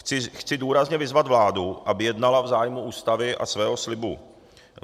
Chci důrazně vyzvat vládu, aby jednala v zájmu Ústavy a svého slibu.